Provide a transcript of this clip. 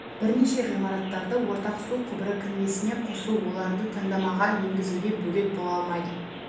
бірнеше ғимараттарды ортақ су құбыры кірмесіне қосу оларды таңдамаға енгізуге бөгет бола алмайды